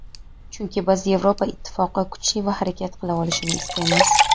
chunki biz Yevropa Ittifoqi kuchli va harakat qila olishini istaymiz.